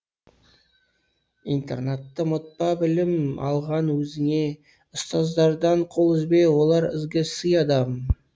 интернатты ұмытпа білім алған өзіңе ұстаздардан қол үзбе олар ізгі сый адам